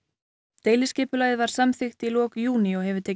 deiliskipulagið var samþykkt í lok júní og hefur tekið